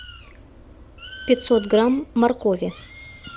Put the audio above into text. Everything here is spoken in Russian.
пятьсот грамм моркови